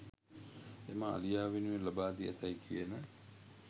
එම අලියා වෙනුවෙන් ලබා දී ඇතැයි කියන